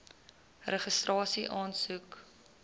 registrasieaansoek